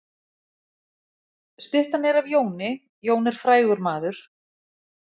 Styttan er af Jóni. Jón er frægur maður.